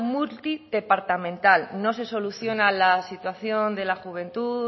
multidepartamental no se soluciona la situación de la juventud